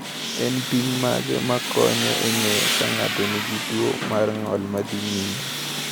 En pim mage ma konyo e ng’eyo ka ng’ato nigi tuwo mar ng’ol ma dhi nyime?